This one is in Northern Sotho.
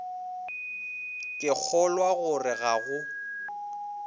ke kgolwa gore ga go